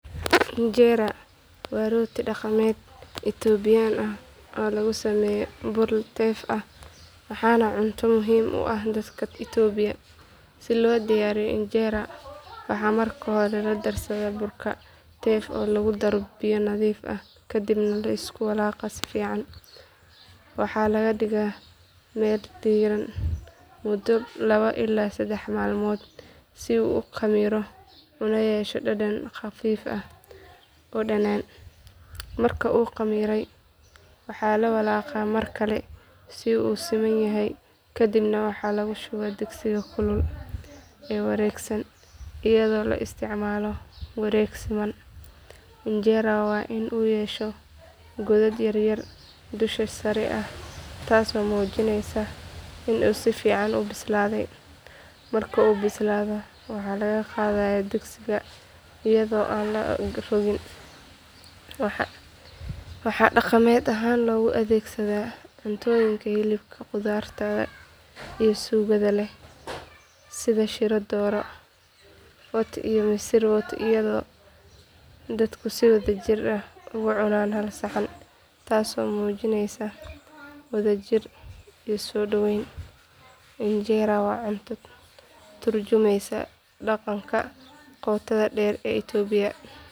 Injera waa rooti dhaqameed Itoobiyaan ah oo laga sameeyo bur teff ah waana cunto muhiim u ah dadka Itoobiya. Si loo diyaariyo injera waxaa marka hore la darsaa burka teff oo lagu daro biyo nadiif ah kadibna la isku walaaqaa si fiican. Waxaa la dhigaa meel diiran muddo laba ilaa saddex maalmood si uu u khamiiro una yeesho dhadhan khafiif ah oo dhanaan. Marka uu khamiiray waxaa la walaaqaa mar kale si uu u siman yahay kadibna waxaa lagu shubaa digsiga kulul ee wareegsan iyadoo la isticmaalayo wareeg siman. Injera waa in uu yeesho godad yaryar dusha sare ah taasoo muujinaysa in uu si fiican u bislaaday. Marka uu bislaado waxaa laga qaadayaa digsiga iyadoo aan la rogin. Waxaa dhaqameed ahaan loogu adeegsadaa cunnooyinka hilibka khudradda iyo suugada leh sida shiro doro wat iyo misir wot iyadoo dadku si wadajir ah uga cunaan hal saxan taasoo muujinaysa wadajir iyo soodhawayn. Injera waa cunto ka tarjumaysa dhaqanka qotada dheer ee Itoobiya.